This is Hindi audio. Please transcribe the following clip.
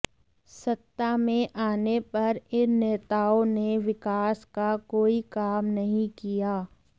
सत्ता में आने पर इन नेताओं ने विकास का कोई काम नहीं किया